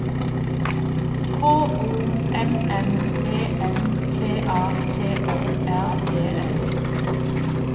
K O M M E N T A T O R E N